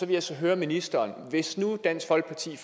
vil så høre ministeren hvis nu dansk folkeparti